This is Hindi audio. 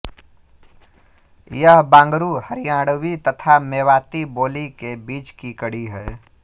यह बांगरु हरियाणवी तथा मेवाती बोली के बीच की कड़ी है